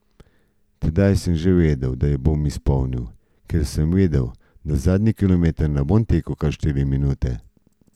Tedaj sem že vedel, da jo bom izpolnil, ker sem vedel, da zadnji kilometer ne bom tekel kar štiri minute.